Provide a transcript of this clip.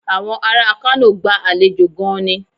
Àwọn ará Kano gba àlejò gan-an ni.